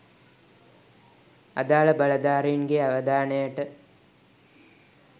අදාළ බලධාරීන්ගේ අවධානයට